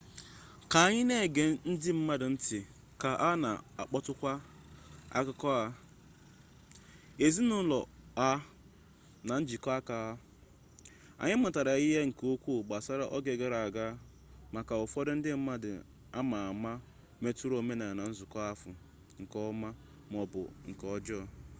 ka anyị na-ege ndị mmadụ nti ka ha na akọpụta akụkọ ha ezinụlọ ha na njikọ aka ha anyị mụtara ihe nke ukwu gbasara oge gara aga makwa ụfọdụ ndị mmadụ ama ama metụtara omenala nzukọ ahụ nke ọma maọbu nke ọjọọ